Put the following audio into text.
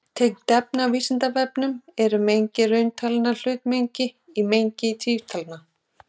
Tengt efni á Vísindavefnum: Er mengi rauntalna hlutmengi í mengi tvinntalna?